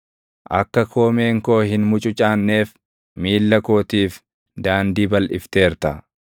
Akka koomeen koo hin mucucaanneef, miilla kootiif daandii balʼifteerta.